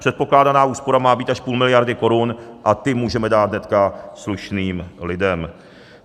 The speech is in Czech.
Předpokládaná úspora má být až půl miliardy korun a ty můžeme dát hnedka slušným lidem.